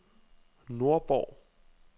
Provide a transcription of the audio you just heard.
Nordborg